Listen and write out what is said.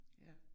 Ja